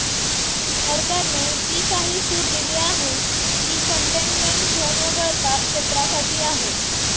सरकारने जी काही सूट दिली आहे ती कंटेनमेंट झोनवगळता क्षेत्रासाठी आहे